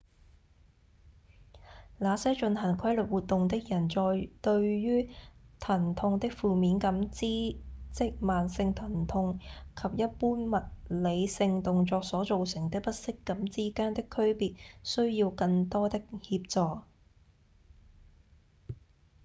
那些進行規律活動的人在對於疼痛的負面感知即慢性疼痛及一般物理性動作所造成的不適感之間的區別需要更多的協助